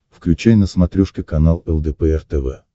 включай на смотрешке канал лдпр тв